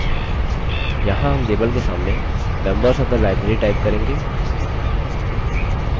यहाँ हम label के सामने members of the library type करेंगे